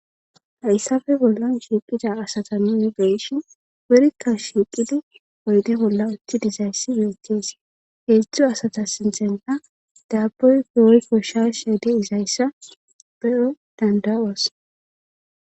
hayssafe bollan shiiqida asata nuni beyshin wurikka shiiqidi oyde bolla utti dizayssi betes heedzdzu asata sinthenta daabboy woy kkosha sheede izayssa be7o danda7oos